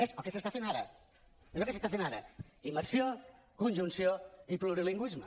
és el que s’està fent ara és el que s’està fent ara immersió conjunció i plurilingüisme